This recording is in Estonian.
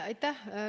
Aitäh!